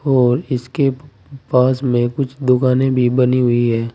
और इसके पास में कुछ दुकानें भी बनी हुई है।